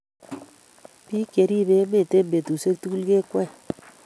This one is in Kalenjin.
Biik cheribe emet eng betushiek tugul kekwee